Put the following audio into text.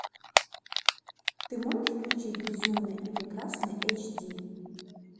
ты можешь включить безумная и прекрасная эйч ди